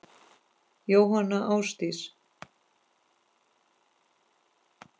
Jóhanna Ásdís.